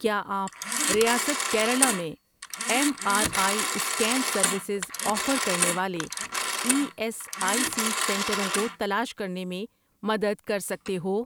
کیا آپ ریاست کیرلا میں M R I scan services offer کرنے والے ای ایس آئی سی سنٹروں کو تلاش کرنے میں مدد کر سکتے ہو؟